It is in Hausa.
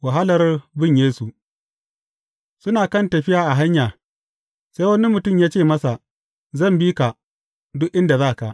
Wahalar bin Yesu Suna kan tafiya a hanya, sai wani mutum ya ce masa, Zan bi ka, duk inda za ka.